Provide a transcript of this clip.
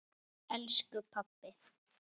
Elsku pabbi!